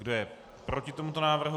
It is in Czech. Kdo je proti tomuto návrhu